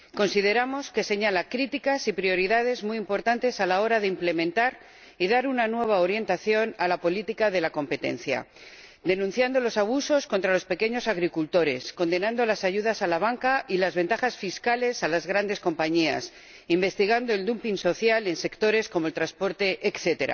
Consideramos que señala críticas y prioridades muy importantes a la hora de implementar y dar una nueva orientación a la política de la competencia denunciando los abusos contra los pequeños agricultores, condenando las ayudas a la banca y las ventajas fiscales a las grandes compañías, investigando el dumping social en sectores como el transporte, etc.